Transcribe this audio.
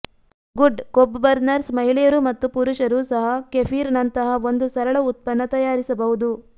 good ಕೊಬ್ಬು burners ಮಹಿಳೆಯರು ಮತ್ತು ಪುರುಷರು ಸಹ ಕೆಫಿರ್ ನಂತಹ ಒಂದು ಸರಳ ಉತ್ಪನ್ನ ತಯಾರಿಸಬಹುದು